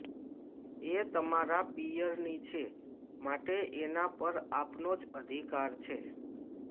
એ તમારા પિયરની છે માટે એના પર આપનો જ અધિકાર છે